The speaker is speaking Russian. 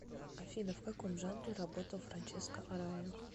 афина в каком жанре работал франческо арая